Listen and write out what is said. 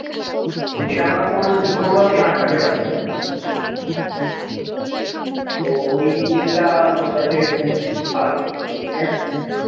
যেটা আমরা কোনদিন কোন ভাবেই আটকাতে পারছিলাম না তো ওই জিনিসটা আমার কাছে খুব খারাপ লেগেছে এখনো অব্দি